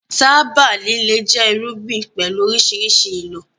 Tábà líle jẹ́ irúgbìn pẹ̀lú oríṣiríṣi ìlò